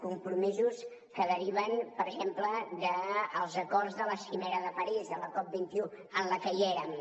compromisos que deriven per exemple dels acords de la cimera de parís de la cop21 en la qual hi érem